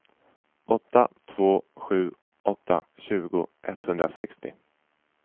åtta två sju åtta tjugo etthundrasextio